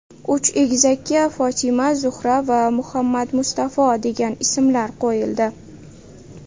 Uch egizakka Fotima, Zuhra va Muhammadmustafo degan ismlar qo‘yildi.